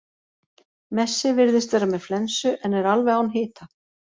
Messi virðist vera með flensu en er alveg án hita.